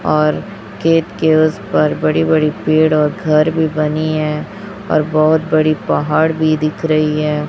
और खेत के उसपार बड़ी बड़ी पेड़ और घर भी बनी है और बहोत बड़ी पहाड़ भी दिख रही है।